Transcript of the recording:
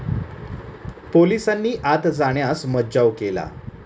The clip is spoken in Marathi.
पोलिसांनी आत जाण्यास मज्जाव केला.